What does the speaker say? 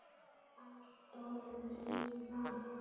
Alltof víða!